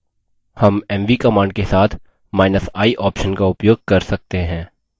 हम mv command के साथi option का उपयोग कर सकते हैं